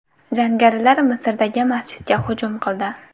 Jangarilar Misrdagi masjidga hujum qildi.